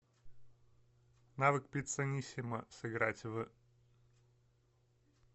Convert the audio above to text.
навык пиццанисимо сыграть в